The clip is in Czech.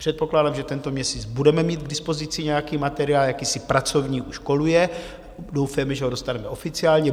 Předpokládám, že tento měsíc budeme mít k dispozici nějaký materiál, jakýsi pracovní už koluje, doufejme, že ho dostaneme oficiálně.